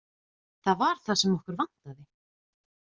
Það var það sem okkur vantaði.